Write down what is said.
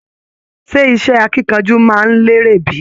Ṣe iṣẹ akínkanjú máa n lere bi?